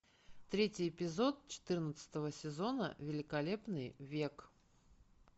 третий эпизод четырнадцатого сезона великолепный век